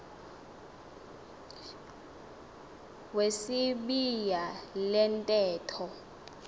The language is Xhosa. wesibaya le ntetho